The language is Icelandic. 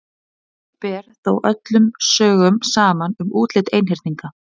Ekki ber þó öllum sögum saman um útlit einhyrninga.